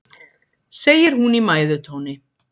segir hún í mæðutóni.